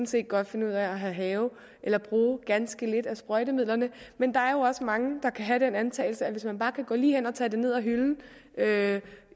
set godt finde ud af at have have eller bruge ganske lidt af sprøjtemidlerne men der er jo også mange der kan have den antagelse at hvis man bare kan gå lige hen og tage det ned af hylden